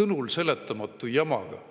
sõnulseletamatu jamaga.